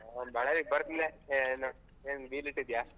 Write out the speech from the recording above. ಅಹ್ ಬಳ್ಳಾರಿಗೆ ಬರ್ತನ್ ಲೆ ಏನ್ ಏನ್ deal ಇಟ್ಟಿದ್ಯಾ?